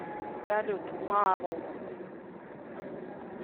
салют марув